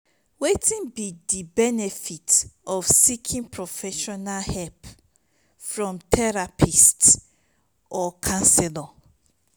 wetin be di benefits of seeking professional help from therapists or counselors?